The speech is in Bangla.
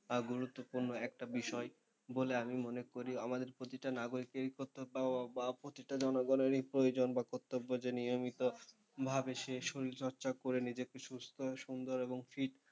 আর গুরুত্বপূর্ণ একটা বিষয় বলে আমি মনে করি। আমাদের প্রতিটা নাগরিকেরই কর্তব্য বা প্রতিটা জনগণেরই প্রয়োজন বা কর্তব্য যে নিয়মিতভাবে সে শরীরচর্চা করে নিজেকে সুস্থ সুন্দর এবং fit,